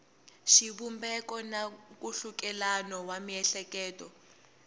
xivumbeko na nkhulukelano wa miehleketo